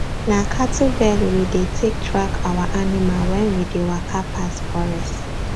na cattle bell we dey take track our animal wen we dey waka pass forest